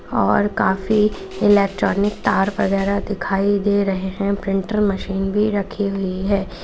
और काफी इलेक्ट्रॉनिक तार वगैरह दिखाई दे रहे हैं प्रिंटर मशीन भी रखी हुई है।